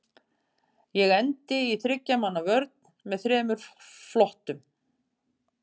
Ég endi í þriggja manna vörn með þremur flottum.